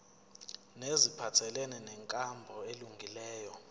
neziphathelene nenkambo elungileyo